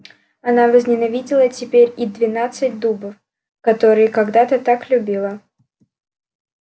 она возненавидела теперь и двенадцать дубов которые когда-то так любила